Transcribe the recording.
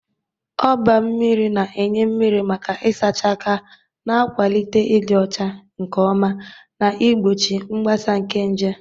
Oba mmiri na-enye mmiri maka ịsacha aka, na-akwalite ịdị ọcha nke ọma na igbochi mgbasa nke nje.